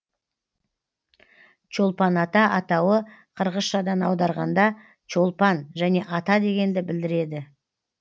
чолпан ата атауы қырғызшадан аударғанда чолпан және ата дегенді білдіреді